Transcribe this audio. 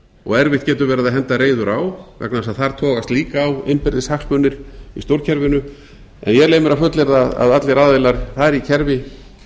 og erfitt getur verið að henda reiður á vegna þess að þar togast líka á innbyrðis hagsmunir í stjórnkerfinu en ég leyfi mér að fullyrða að allir aðilar þar í kerfi